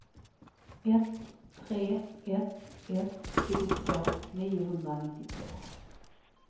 ett tre ett ett sjuttiotvå niohundranittiotvå